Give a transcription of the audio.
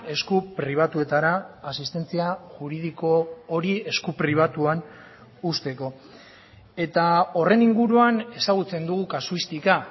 esku pribatuetara asistentzia juridiko hori esku pribatuan uzteko eta horren inguruan ezagutzen dugu kasuistika